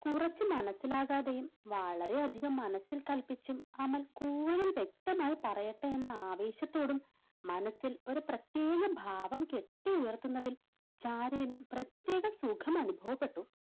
കുറച്ചു മനസ്സിലാകാതെയും വളരെയധികം മനസ്സിൽ കൽപ്പിച്ചും അമൽ കൂടുതൽ വ്യക്തമായി പറയട്ടെ എന്ന ആവേശത്തോടും മനസ്സിൽ ഒരു പ്രത്യേക ഭാവം കെട്ടി ഉയർത്തുന്നതിൽ ചാരുവിന് പ്രത്യേക സുഖം അനുഭവപ്പെട്ടു.